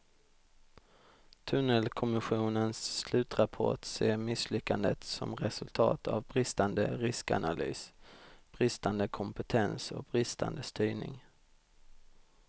Tunnelkommissionens slutrapport ser misslyckandet som resultat av bristande riskanalys, bristande kompetens och bristande styrning.